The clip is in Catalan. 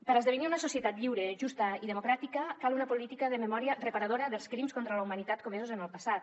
per esdevenir una societat lliure justa i democràtica cal una política de memòria reparadora dels crims contra la humanitat comesos en el passat